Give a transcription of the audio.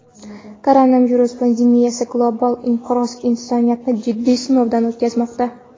Koronavirus pandemiyasi, global inqiroz insoniyatni jiddiy sinovdan o‘tkazmoqda.